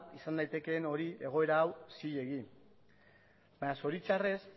izan daitekeen hori egoera hori zilegi baina zoritxarrez